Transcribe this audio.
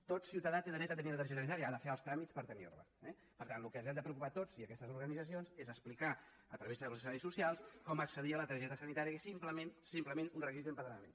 tot ciutadà té dret a tenir una targeta sanitària ha de fer els tràmits per tenir la eh per tant del que ens hem de preocupar tots i aquestes organitzacions és d’explicar a través dels serveis socials com accedir a la targeta sanitària que és simplement un requisit d’empadronament